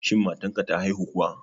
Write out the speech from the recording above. Shin matan ka ta haihu kuwa